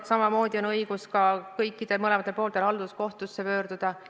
Ja samamoodi on mõlemal poolel õigus halduskohtusse pöörduda.